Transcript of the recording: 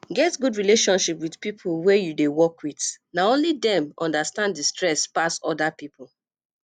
get good relationship with pipo wey you dey work with na only dem understand di stress pass oda pipo